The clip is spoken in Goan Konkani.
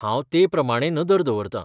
हांव ते प्रमाणें नदर दवरतां.